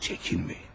Çəkinməyin.